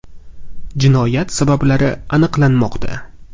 Jinoyat sabablari aniqlanmoqda.